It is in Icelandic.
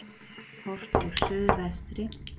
Horft úr suðvestri.